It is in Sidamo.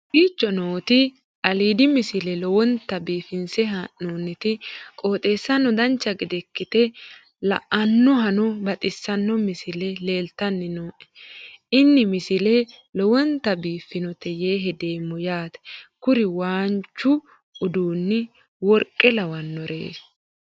kowicho nooti aliidi misile lowonta biifinse haa'noonniti qooxeessano dancha ikkite la'annohano baxissanno misile leeltanni nooe ini misile lowonta biifffinnote yee hedeemmo yaate kuri waanchu uduunni worqqe lawannori